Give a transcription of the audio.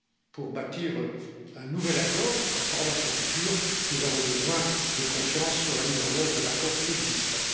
Pour bâtir un nouvel accord sur la relation future, nous avons besoin de confiance sur la mise en œuvre de l'accord existant.